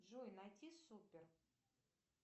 джой найти супер